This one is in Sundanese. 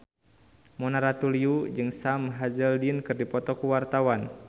Mona Ratuliu jeung Sam Hazeldine keur dipoto ku wartawan